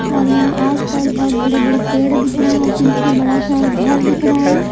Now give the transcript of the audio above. और यहां आसपास बहुत बड़े-बड़े पेड़ दिख रहा है और पीछे बड़ा सा घर दिख रहा है।